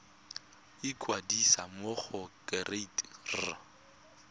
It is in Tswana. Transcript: ikwadisa mo go kereite r